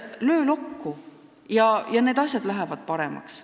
Löö lokku, ja asjad lähevad paremaks.